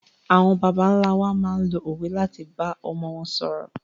Àwọn bàbá ńlá wa máa ń lo òwe láti bá ọmọ wọn ṣòro.